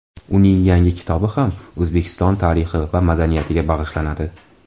Uning yangi kitobi ham O‘zbekiston tarixi va madaniyatiga bag‘ishlanadi.